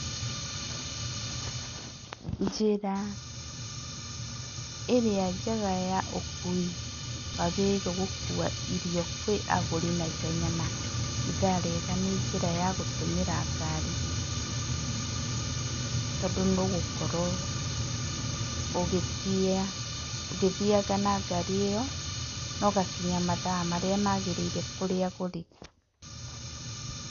Njĩra ĩrĩa njega ya ũkui wagĩrĩirwo gũkua irio kwĩ agũri naihenya na ithaa rĩega nĩ njĩra ya gũtũmĩra ngari, tondũ nĩ ũgũkorwo ũgĩthianga na ngari ĩyo na ũgakinya mathaa marĩa magĩrĩire kũrĩ agũri.